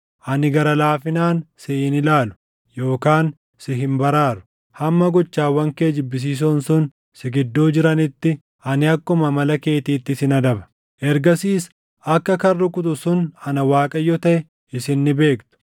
Ani gara laafinaan si hin ilaalu yookaan si hin baraaru. Hamma gochawwan kee jibbisiisoon sun si gidduu jiranitti ani akkuma amala keetiitti sin adaba. “ ‘Ergasiis akka kan rukutu sun ana Waaqayyo taʼe isin ni beektu.